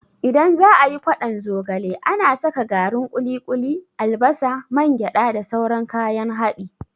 Idan za'a yi ƙwadon zogale, ana saka garin ƙuli-ƙuli, albasa, man gyada da sauran kayan haɗi.